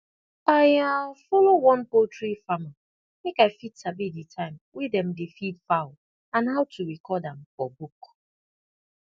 i um follow one poultry farmer make i fit sabi di time wey dem dey feed fowl and how to record am for book